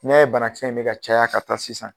I ɲɛ bɛ bana kisɛ in bɛ ka caya ka taa sisan.